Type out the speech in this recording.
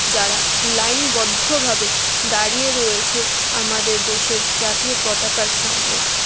যারা লাইন -বদ্ধ ভাবে দাঁড়িয়ে রয়েছে আমাদের দেশের জাতীয় পতাকার সামনে।